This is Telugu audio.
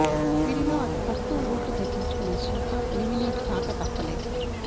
వీరిలో అతి తక్కువ ఓట్లు దక్కించుకున్న శిల్ప ఎలిమినేట్ కాక తప్పలేదు